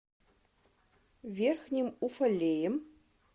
верхним уфалеем